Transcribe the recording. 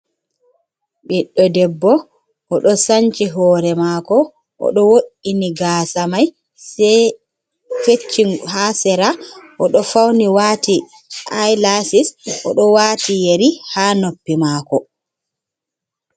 Ɓiɗdo debbo o ɗo sanci hore mako oɗo woini gasa mai feci ha sera, oɗo fauni wati ilasis oɗo wati yeri ha noppi mako.